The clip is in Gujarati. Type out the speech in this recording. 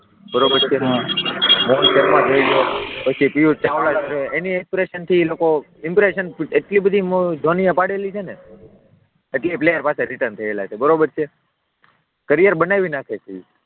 બરાબર છે, રોહિત શર્મા જોઈ લો, પછી પિયુષ ચાવડા છે એની ઈમ્પ્રેશન થી લોકો, ઈમ્પ્રેશન એટલી બધી ધોનીએ પાડેલી છે ને એટલે એ પ્લેયર પાછા રિટર્ન થયા છે કેરિયર બનાવી નાખે છે.